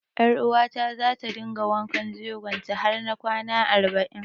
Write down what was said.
Ƴaruwata za ta dinga wanken jegon ta har na kwana arba'in.